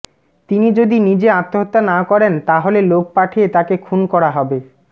তিনি যদি নিজে আত্মহত্যা না করেন তাহলে লোক পাঠিয়ে তাকে খুন করা হবে